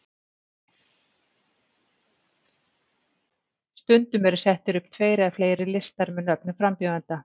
Stundum eru settir upp tveir eða fleiri listar með nöfnum frambjóðenda.